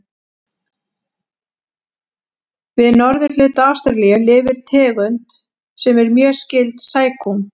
Við norðurhluta Ástralíu lifir tegund sem er mjög skyld sækúm.